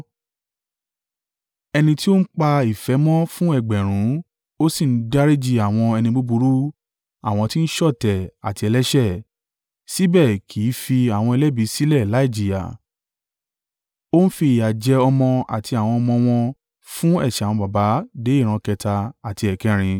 Ẹni tí ó ń pa ìfẹ́ mọ́ fún ẹgbẹ̀rún (1,000), ó sì ń dáríjì àwọn ẹni búburú, àwọn ti ń ṣọ̀tẹ̀ àti ẹlẹ́ṣẹ̀. Síbẹ̀ kì í fi àwọn ẹlẹ́bi sílẹ̀ láìjìyà; Ó ń fi ìyà jẹ ọmọ àti àwọn ọmọ wọn fún ẹ̀ṣẹ̀ àwọn baba dé ìran kẹta àti ẹ̀kẹrin.”